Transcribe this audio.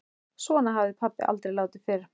Svona hafði pabbi aldrei látið fyrr.